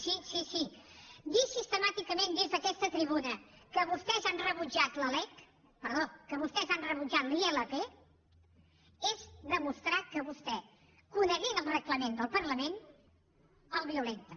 sí sí dir sistemàticament des d’aquesta tribuna que vostès han rebutjat la ilp és demostrar que vostè coneixent el reglament del parlament el violenta